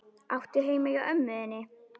Áttu heima hjá ömmu þinni?